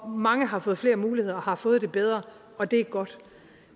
mange har fået flere muligheder og har fået det bedre og det er godt